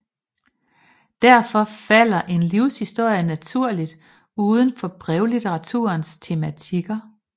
Derfor falder en livshistorie naturligt uden for brevlitteraturens tematikker